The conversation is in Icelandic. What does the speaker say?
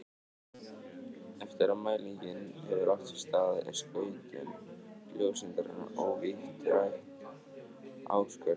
Eftir að mælingin hefur átt sér stað er skautun ljóseindarinnar ótvírætt ákvörðuð.